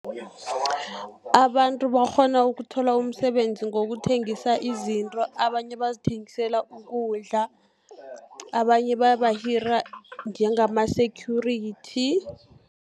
Abantu bakghona ukuthola umsebenzi ngokuthengisa izinto, abanye bazithengisela ukudla, abanye bayabahira njengama-security.